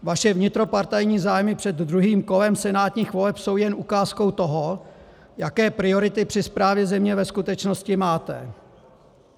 Vaše vnitropartajní zájmy před druhým kolem senátních voleb jsou jen ukázkou toho, jaké priority při správě země ve skutečnosti máte.